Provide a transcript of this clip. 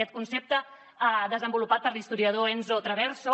aquest concepte desenvolupat per l’historiador enzo traverso